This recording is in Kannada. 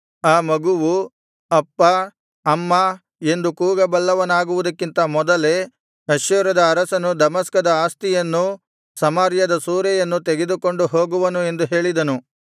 ಆ ಮಗುವು ಅಪ್ಪಾ ಅಮ್ಮಾ ಎಂದು ಕೂಗಬಲ್ಲವನಾಗುವುದಕ್ಕಿಂತ ಮೊದಲೇ ಅಶ್ಶೂರದ ಅರಸನು ದಮಸ್ಕದ ಆಸ್ತಿಯನ್ನೂ ಸಮಾರ್ಯದ ಸೂರೆಯನ್ನೂ ತೆಗೆದುಕೊಂಡು ಹೋಗುವನು ಎಂದು ಹೇಳಿದನು